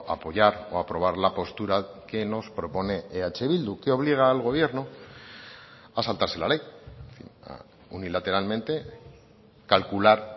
apoyar o aprobar la postura que nos propone eh bildu que obliga al gobierno a saltarse la ley unilateralmente calcular